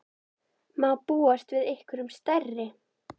Má búast við einhverjum stærri?